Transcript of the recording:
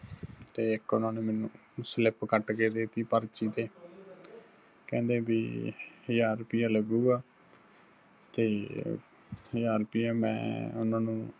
ਤੇ ਇੱਕ ਉਹਨਾ ਨੇ ਮੈਨੂੰ slip ਕੱਟ ਕੇ ਦੇਤੀ ਪਰਚੀ ਤੇ ਕਹਿੰਦੇ ਬੀ ਹਜ਼ਾਰ ਰੁਪਈਆ ਲਗੂੱਗਾ ਤੇ ਹਜ਼ਾਰ ਰੁਪਈਆ ਮੈੋਂ ਉਹਨਾ ਨੂੰ